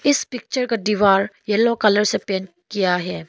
इस पिक्चर का दीवार येलो कलर से पेंट किया है।